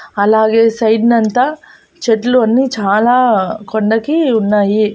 అలాగే సైడ్ నంతా చెట్లు అన్ని చాలా కొండకి ఉన్నాయి.